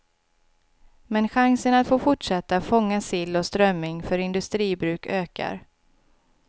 Men chansen att få fortsätta fånga sill och strömming för industribruk ökar.